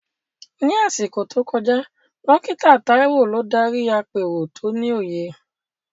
Ní àsìkò tó kọjá, Dókítà Taiwo ló darí àpérò tó ní òye.